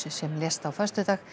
sem lést á föstudag